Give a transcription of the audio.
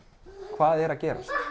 hvað er að gerast